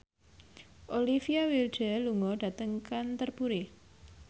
Olivia Wilde lunga dhateng Canterbury